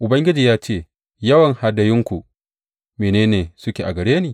Ubangiji ya ce, Yawan hadayunku, mene ne suke a gare ni?